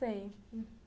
Sei.